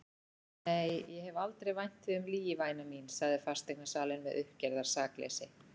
Nei, ég hef aldrei vænt þig um lygi væna mín, sagði fasteignasalinn með uppgerðar sakleysi.